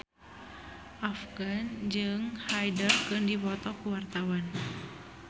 Afgan jeung Hyde keur dipoto ku wartawan